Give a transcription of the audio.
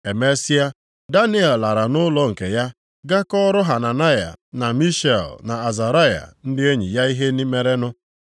Emesịa, Daniel lara nʼụlọ nke ya gaa kọọrọ Hananaya, na Mishael, na Azaraya, ndị enyi ya ihe merenụ.